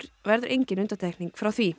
verður engin undantekning frá því